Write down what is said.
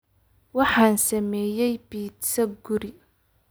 Waxaan sameeyay pizza guri.